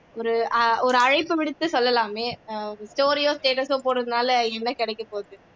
ஒரு அழைப்பு விடுத்து சொல்லலாமே story யோ status ஓ போடுறதுனால என்ன கிடைக்கபோகுது